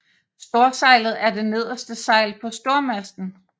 Storsejlet er det nederste sejl på stormasten